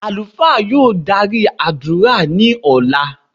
Alufa yóò dari adura ni ọla.